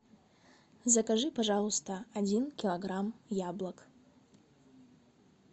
закажи пожалуйста один килограмм яблок